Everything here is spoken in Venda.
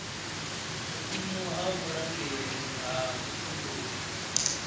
vhuimo ha vhurangeli ha vhutumbuli